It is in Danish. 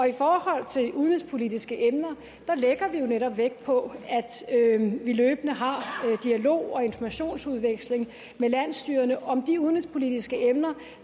i forhold til udenrigspolitiske emner lægger vi jo netop vægt på at vi løbende har dialog og informationsudveksling med landsstyrerne om de udenrigspolitiske emner